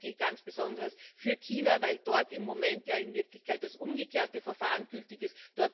Das gilt ganz besonders für China, weil dort im Moment in Wirklichkeit das umgekehrte Verfahren gültig ist.